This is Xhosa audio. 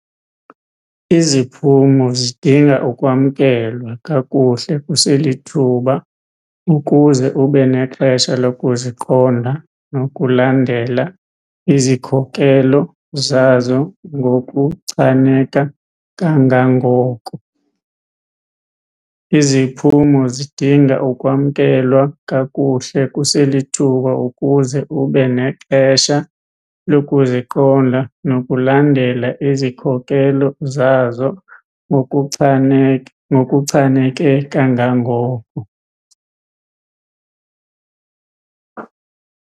Iziphumo zidinga ukwamkelwa kakuhle kuselithuba ukuze ube nexesha lokuziqonda nokulandela izikhokelo zazo ngokuchaneke kangangoko. Iziphumo zidinga ukwamkelwa kakuhle kuselithuba ukuze ube nexesha lokuziqonda nokulandela izikhokelo zazo ngokuchaneke kangangoko.